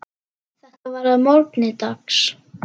Þetta var að morgni dags.